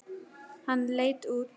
Hann leit út.